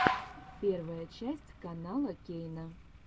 первая часть канала кейна